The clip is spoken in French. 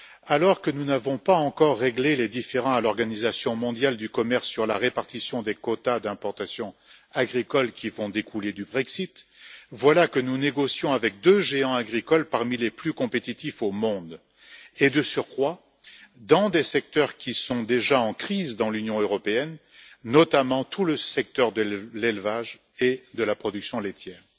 Alors que nous n'avons pas encore réglé les différends à l'Organisation mondiale du commerce sur la répartition des quotas d'importations agricoles qui vont découler du Brexit, voilà que nous négocions avec deux géants agricoles parmi les plus compétitifs au monde et, de surcroît, dans des secteurs qui sont déjà en crise dans l'Union européenne, notamment tout le secteur de l'élevage et de la production laitière.